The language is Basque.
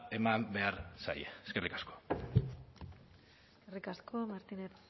eman behar zaie eskerrik asko eskerrik asko martínez